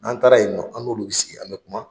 N'an taara ye nɔ an n'olu bɛ sigi an bɛ kuma.